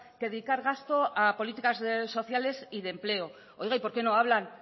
que dedicar gasto a políticas sociales y de empleo oiga y por qué no hablan